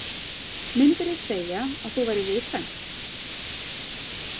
Myndirðu segja að þú værir viðkvæm?